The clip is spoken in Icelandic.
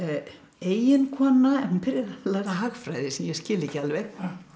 eiginkona en hún byrjar að læra hagræði sem ég skil ekki alveg